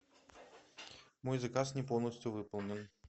мой заказ не полностью выполнен